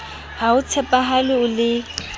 ha o tshepahale o le